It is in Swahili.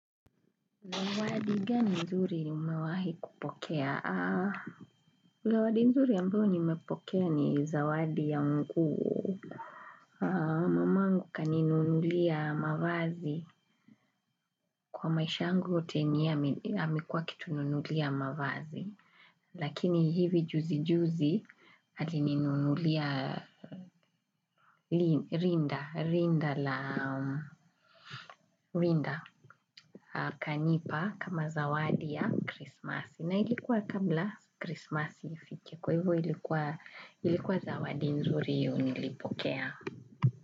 Zawadi gani mzuri umewahi kupokea? Zawadi mzuri ambayo nimepokea ni zawadi ya nguo. Mamangu kaninunulia mavazi. Kwa maisha yangu yote, ni yeye amekuwa akitununulia mavazi. Lakini hivi juzi juzi alininunulia rinda. Rinda la kanipa kama zawadi ya krismasi. Na ilikuwa kabla krismasi ifike, kwa hivyo ilikuwa, ilikuwa zawadi nzuri hiyo nilipokea.